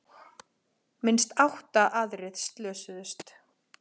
Minnst átta aðrir slösuðust